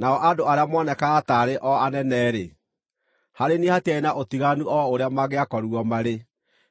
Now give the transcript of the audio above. Nao andũ arĩa moonekaga taarĩ o anene-rĩ, (harĩ niĩ hatiarĩ na ũtiganu o ũrĩa mangĩakorirwo marĩ,